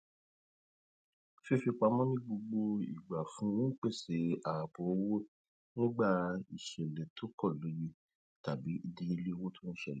fífipamọ ní gbogbo igba fún un n pese ààbò owó nígbà ìṣẹlẹ tó kọ lóye tàbí ìdíyelé owó tó ṣẹlẹ